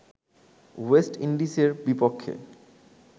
West ইন্ডিজের বিপক্ষে